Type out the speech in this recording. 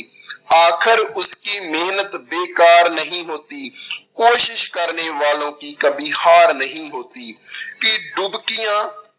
ਆਖਰ ਉਸ ਕੀ ਮਿਹਨਤ ਬੇਕਾਰ ਨਹੀਂ ਹੋਤੀ ਕੋਸ਼ਿਸ਼ ਕਰਨੇ ਵਾਲੋਂ ਕੀ ਕਬੀ ਹਾਰ ਨਹੀਂ ਹੋਤੀ ਕਿ ਡੁਬਕੀਆਂ